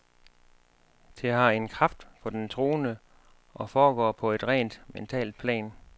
Det har en kraft for den troende og foregår på et rent mentalt plan.